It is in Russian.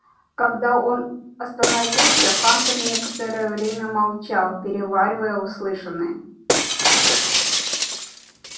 когда он остановился хантер некоторое время молчал переваривая услышанное